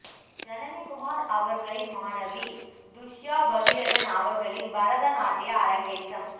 ஜனனி குமார் அவர்களின் மாணவி துஷ்யா பகீரதன் அவர்களின் பரத நாட்டிய அரங்கேற்றம்